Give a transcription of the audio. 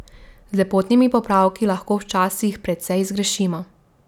Z lepotnimi popravki lahko včasih precej zgrešimo.